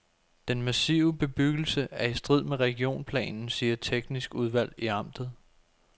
Den massive bebyggelse er i strid med regionplanen, siger teknisk udvalg i amtet.